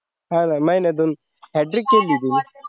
हा ना महिन्यातून hat trick केली तुम्ही